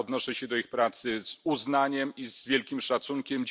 Odnoszę się do ich pracy z uznaniem i z wielkim szacunkiem.